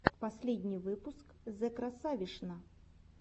последний выпуск зэкрасавишна